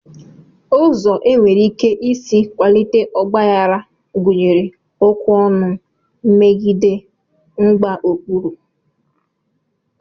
Ụzọ e nwere ike isi kwalite ọgbaghara gụnyere okwu ọnụ, mmegide, mgbaokpuru